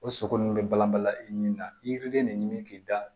O sogo nun bɛ balan balan i ni na i yirilen de ɲimi k'i da